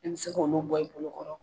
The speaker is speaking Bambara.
Ni bi se k'olu bɔ i bolo kɔrɔ